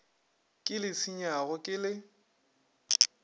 ke le senyago ke la